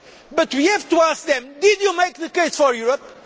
right. But we have to ask them did you make the case for Europe?